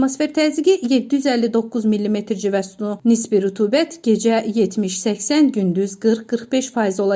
Atmosfer təzyiqi 759 millimetr civə sütunu, nisbi rütubət gecə 70-80, gündüz 40-45% olacaq.